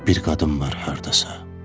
Bir qadın var hardasa.